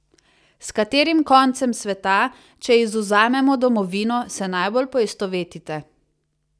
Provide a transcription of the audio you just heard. S katerim koncem sveta, če izvzamemo domovino, se najbolj poistovetite?